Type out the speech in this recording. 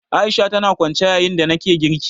A'isha tana kwance yayin da nake girki